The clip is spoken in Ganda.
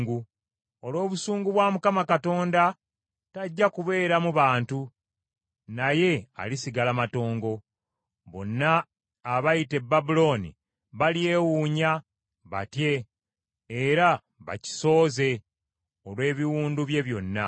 Olw’obusungu bwa Mukama Katonda tajja kubeeramu bantu, naye alisigala matongo. Bonna abayita e Babulooni balyewuunya batye era bakisooze olw’ebiwundu bye byonna.